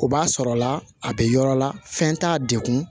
O b'a sɔrɔla a bɛ yɔrɔ la fɛn t'a dekun